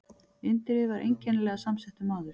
Indriði var einkennilega samsettur maður.